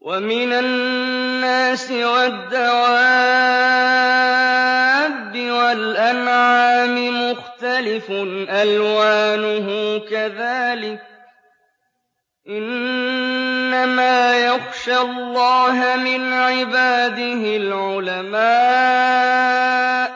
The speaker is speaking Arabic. وَمِنَ النَّاسِ وَالدَّوَابِّ وَالْأَنْعَامِ مُخْتَلِفٌ أَلْوَانُهُ كَذَٰلِكَ ۗ إِنَّمَا يَخْشَى اللَّهَ مِنْ عِبَادِهِ الْعُلَمَاءُ ۗ